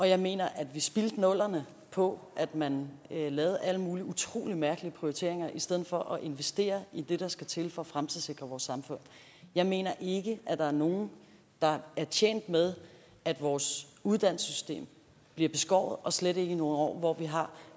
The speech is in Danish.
jeg mener at vi spildte nullerne på at man lavede alle mulige utrolig mærkelige prioriteringer i stedet for at investere i det der skal til for at fremtidssikre vores samfund jeg mener ikke at der er nogen der er tjent med at vores uddannelsessystem bliver beskåret og slet ikke i nogle år hvor vi har